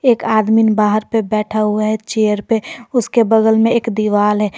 एक आदमीन बाहर पर बैठा हुआ है चेयर पे उसके बगल में एक दीवाल है।